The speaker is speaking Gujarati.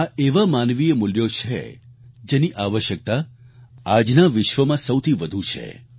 આ એવા માનવીય મૂલ્યો છે જેની આવશ્યકતા આજના વિશ્વમાં સૌથી વધુ છે